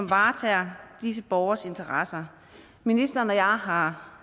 varetager disse borgeres interesser ministeren og jeg har har